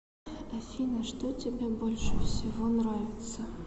афина что тебе больше всего нравится